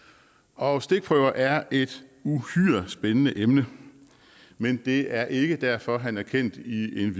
og stikprøver er et uhyre spændende emne men det er ikke derfor han er kendt i en